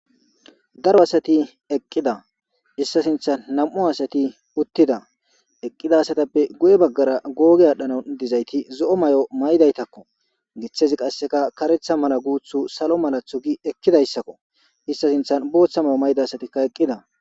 Daro asati eqqida issa sinthan nam'u asati uttida eqqida asatappe gu'e baggara googe aadhdhana dizayti zo'o may'o may'daytakko giththezi qasseka karetha mala guuthu salo malathu gi ekkidayssakko issa sinthan booththa mayo mayda asatikka eqqida